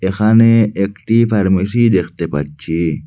এখানে একটি ফার্মেসি দেখতে পাচ্ছি।